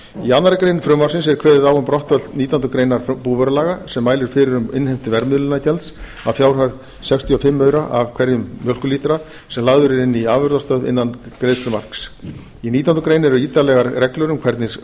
í annarri grein frumvarpsins er kveðið á um brottfall nítjánda grein búvörulaga sem mælir fyrir um innheimtu verðmiðlunargjalds að fjárhæð sextíu og fimm aura af hverjum mjólkurlítra sem lagður er inn í afurðastöð innan greiðslumarks í nítjánda grein eru ítarlegar reglur um hvernig